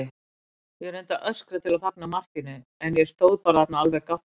Ég reyndi að öskra til að fagna markinu en ég stóð bara þarna alveg gáttuð.